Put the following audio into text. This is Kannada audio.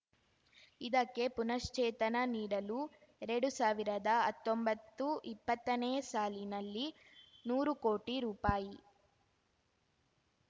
ಇದಕ್ಕೆ ಪುನಶ್ಚೇತನ ನೀಡಲು ಎರಡು ಸಾವಿರದಾ ಹತ್ತೊಂಬತ್ತುಇಪ್ಪತ್ತನೇ ಸಾಲಿನಲ್ಲಿ ನೂರು ಕೋಟಿ ರೂಪಾಯಿ